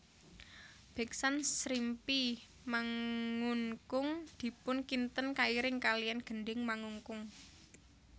Beksan Srimpi Mangunkung dipun kinten kairing kalian gending Mangunkung